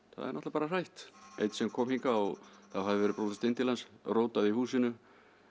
það er náttúrulega bara hrætt einn sem kom hingað það hafði verið brotist inn til hans rótað í húsinu